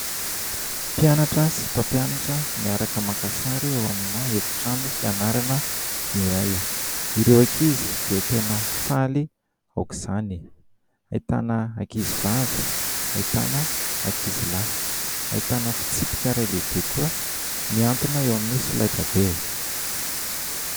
Mpianatra sy mampiananatra miaraka maka sary ao amina efitrano fianarana iray. Ireo ankizy dia tena faly aok'izany. Ahitana ankizy vavy, ahitana ankizy lahy. Ahitana fitsipika iray lehibe koa mihantona eo amin'ny solaitrabe.